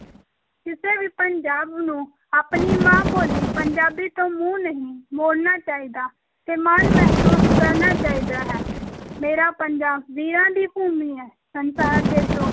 ਕਿਸੇ ਵੀ ਪੰਜਾਬ ਨੂੰ ਆਪਣੀ ਮਾਂ-ਬੋਲੀ ਪੰਜਾਬੀ ਤੋਂ ਮੂੰਹ ਨਹੀਂ ਮੋੜਨਾ ਚਾਹੀਦਾ ਤੇ ਮਾਣ ਮਹਿਸੂਸ ਕਰਨਾ ਚਾਹੀਦਾ ਹੈ, ਮੇਰਾ ਪੰਜਾਬ ਵੀਰਾਂ ਦੀ ਭੂਮੀ ਹੈ, ਸੰਸਾਰ ਜੇਤੂ